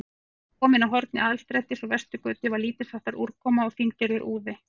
Þegar ég var kominn að horni Aðalstrætis og Vesturgötu, var lítilsháttar úrkoma, fíngerður úði.